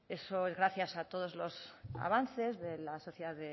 eso es gracias a todos los avances de la sociedad